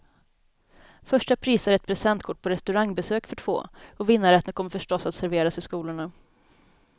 Första pris är ett presentkort på restaurangbesök för två, och vinnarrätten kommer förstås att serveras i skolorna.